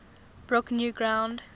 broke new ground